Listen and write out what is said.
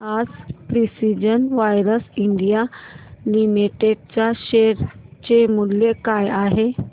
आज precision wires India limited च्या share चे मूल्य काय आहे